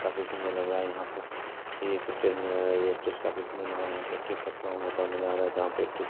काफी सुन्दर लग रहा है यहाँ पर यह एक स्टेज नज़र आ रहा है ये स्टेज काफी सुन्दर लग रहा है यहाँ पे स्टेज --